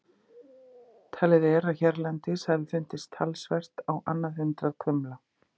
Talið er að hérlendis hafi fundist talsvert á annað hundrað kumla.